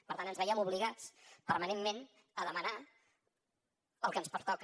per tant ens veiem obligats permanentment a demanar el que ens pertoca